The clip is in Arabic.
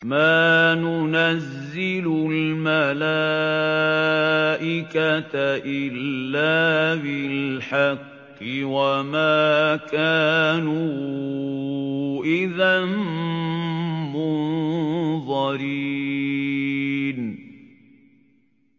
مَا نُنَزِّلُ الْمَلَائِكَةَ إِلَّا بِالْحَقِّ وَمَا كَانُوا إِذًا مُّنظَرِينَ